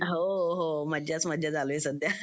हो हो मज्जाच मज्जा चालू आहे सध्या